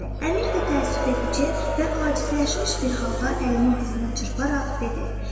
Əmir də təəssüfücü və acizləşmiş bir halda əlini dizinə çırparaq dedi.